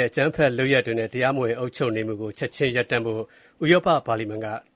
ဲ့ အကြမ်းဖက်လုပ်ရပ်တွေနဲ့အတူ တရားမဝင် အုပ်ချုပ်နေမှုကို ချက်ခြင်းရပ်တန့်ဖို့